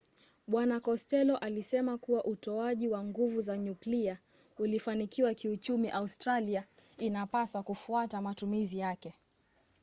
bwana kostello alisema kuwa utoaji wa nguvu za nyuklia ukifanikiwa kiuchumi australia inapaswa kufuata matumizi yake